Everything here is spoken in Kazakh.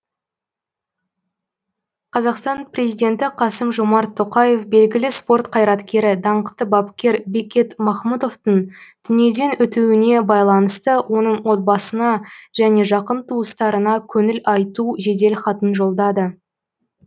қазақстан президенті қасым жомарт тоқаев белгілі спорт қайраткері даңқты бапкер бекет махмұтовтың дүниеден өтуіне байланысты оның отбасына және жақын туыстарына көңіл айту жеделхатын жолдады